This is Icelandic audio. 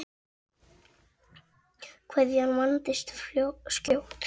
Kveðjan vandist skjótt.